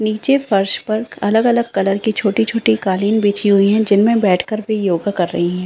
निचे फर्श पर अलग-अलग कलर की छोटी-छोटी कालीन बिछी हुई हैं जिनमे बैठ कर भी योगा कर रही हैं।